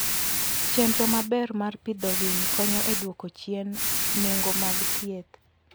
Chenro maber mar pidho winy konyo e dwoko chien nengo mag thieth.